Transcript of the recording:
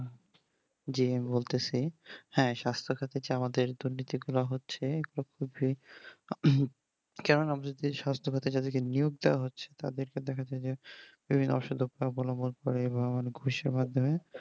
জি আমি বলতেসি হ্যাঁ সাস্থ সাথীতে আমাদের দিতে কেন না সাথে সাথী কে হচ্ছে তাদেরকে দেখাচ্ছে যে বিভিন্ন অসুখ এর মাধ্যমে বা অনেক গুষ এর মাধ্যমে